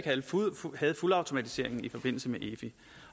havde fuldautomatiseringen i forbindelse med efi